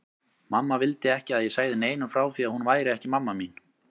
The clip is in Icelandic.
Mamma vildi ekki að ég segði neinum frá því að hún væri ekki mamma mín.